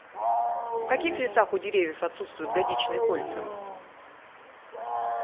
в каких лесах у деревьев отсутствуют годичные кольца